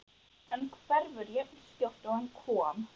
En hverfur jafnskjótt og hann kom.